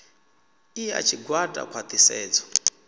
i ya tshigwada khwa ṱhisedzo